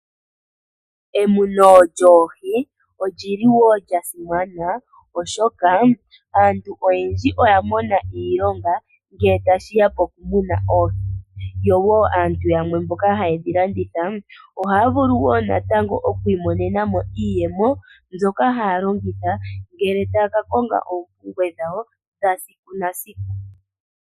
Emuno lyoohi olyili wo lya simana oshoka aantu oyendji oya mona iilonga ngele tashi ya mokumuna oohi yo woo aantu yamwe mboka hayedhi landitha oohaa vulu oku imonena mo iiyemo mbyoka hayeyi longitha uuna taa ka konga oompumbwe dhawo dhesiku kehe.